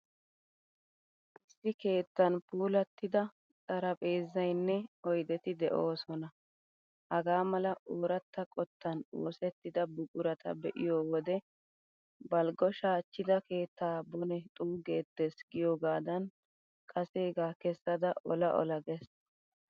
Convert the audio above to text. Issi keettan puulattida xariphpheezzaynne oydeti de'oosona. Hagaa mala ooratta qottan oosettida buqurata be'iyo wode ''balggo shaachchida keettaa bone xuuggeettees'' giyoogaadan kaseegaa kessada ola ola gees.